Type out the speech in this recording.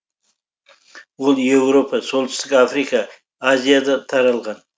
ол еуропа солтүстік африка азияда таралған